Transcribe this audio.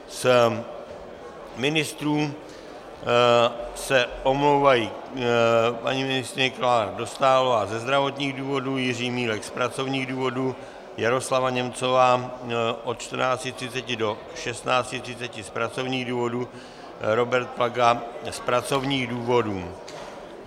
Z ministrů se omlouvají paní ministryně Klára Dostálová ze zdravotních důvodů, Jiří Milek z pracovních důvodů, Jaroslava Němcová od 14.30 do 16.30 z pracovních důvodů, Robert Plaga z pracovních důvodů.